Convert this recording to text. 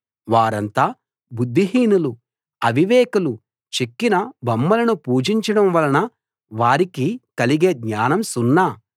వారంతా బుద్ధి హీనులు అవివేకులు చెక్కిన బొమ్మలను పూజించడం వలన వారికి కలిగే జ్ఞానం సున్నా